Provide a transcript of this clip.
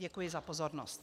Děkuji za pozornost.